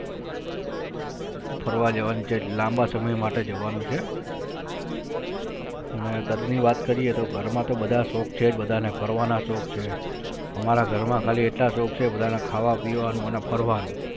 ફરવા જવાની છે લાંબા સમય માટે જવાનું છે અને ઘરની વાત કરીયે તો ઘરમાં તો બધાજ શૌક છે બધાને ફરવાના શૌક છે હમારા ઘરમાં ખાલી એટલા શૌક છે બધાને ખાવા પીવાનું અને ફરવાનું